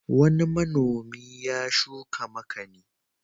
Wani manomi ya shuka makani.